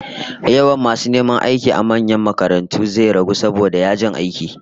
Yawan masu neman aiki a manyan makarantu zai ragu saboda yajin aiki